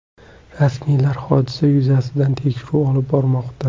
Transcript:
Rasmiylar hodisa yuzasidan tekshiruv olib bormoqda.